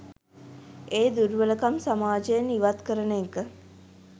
ඒ දුර්වලකම් සමාජයෙන් ඉවත් කරන එක.